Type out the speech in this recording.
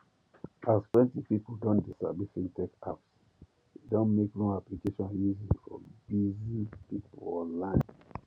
as plenty people don de sabi fintech apps e don make loan application easy for busy people online